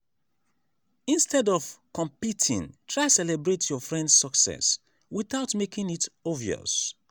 instead of competing try celebrate your friend’s success without making it obvious.